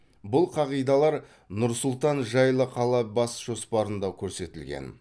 бұл қағидалар нұр сұлтан жайлы қала бас жоспарында көрсетілген